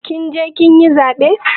Kin je kin yi zaɓe?